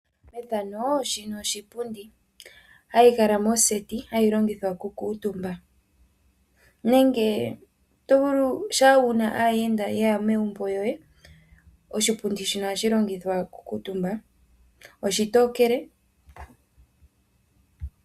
Shika oshipundi shoka hashi adhika moseti nohashi longithwa okukuutumba nenge oto vulu uuna wu na aayenda ye ya megumbo ohaye shi longitha wo okukuutumba. Oshipundi oshitokele.